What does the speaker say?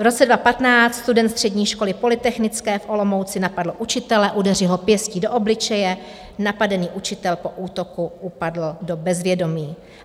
V roce 2015 student střední školy polytechnické v Olomouci napadl učitele, udeřil ho pěstí do obličeje, napadený učitel po útoku upadl do bezvědomí.